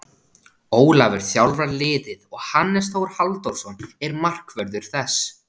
Ólafur þjálfar liðið og Hannes Þór Halldórsson er markvörður þess.